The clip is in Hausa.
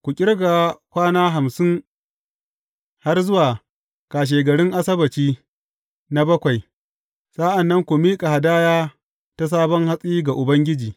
Ku ƙirga kwana hamsin har zuwa kashegarin Asabbaci na bakwai, sa’an nan ku miƙa hadaya ta sabon hatsi ga Ubangiji.